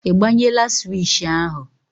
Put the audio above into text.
Ị gbanyela swishì ahụ?